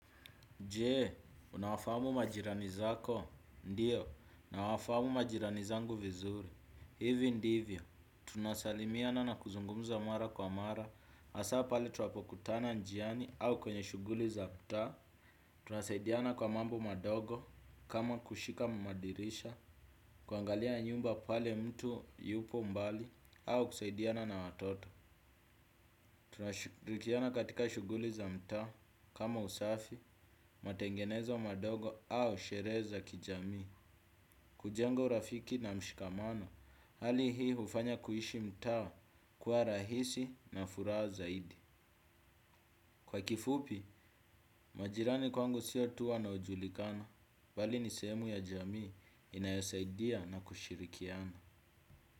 Je, unawafahamu majirani zako? Ndiyo, nawafahamu majirani zangu vizuri. Hivi ndivyo, tunasalimiana na kuzungumza mara kwa mara, hasa pale tunapokutana njiani au kwenye shughuli za mtaa, tunasaidiana kwa mambo madogo kama kushika madirisha, kuangalia nyumba pale mtu yupo mbali, au kusaidiana na watoto. Tunashilikiana katika shughuli za mtaa, kama usafi, matengenezo madogo au sherehe za kijamii. Kujenga urafiki na mshikamano. Hali hii hufanya kuishi mtaa kuwa rahisi na furaha zaidi. Kwa kifupi, majirani kwangu sio tu wanaojulikana bali ni sehemu ya jamii inayosaidia na kushirikiana.